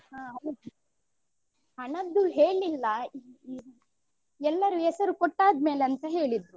ಹ ಹೌದು ಹಣದ್ದು ಹೇಳ್ಳಿಲ್ಲಾ ಎಲ್ಲರು ಹೆಸರು ಕೊಟ್ಟಾದ್ಮೇಲೆ ಅಂತ ಹೇಳಿದ್ರು.